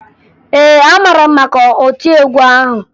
Ee, amara m maka otiegwu ahụ